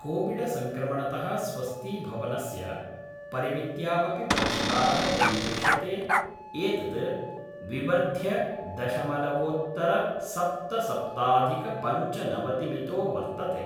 कोविडसंक्रमणत: स्वस्थीभवनस्य परिमित्यामपि परिष्कार: दरीदृश्यते एतत् विवर्ध्य दशमलवोत्तरसप्तसप्ताधिकपञ्चनवतिमितो वर्तते।